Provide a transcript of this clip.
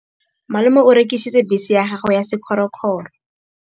Malome o rekisitse bese ya gagwe ya sekgorokgoro.